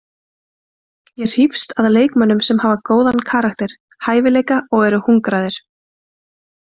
Ég hrífst að leikmönnum sem hafa góðan karakter, hæfileika og eru hungraðir.